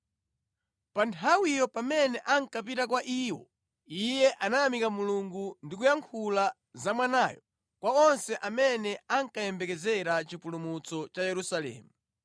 Pa nthawiyo pamene ankapita kwa iwo, iye anayamika Mulungu ndi kuyankhula za Mwanayo kwa onse amene ankayembekezera chipulumutso cha Yerusalemu.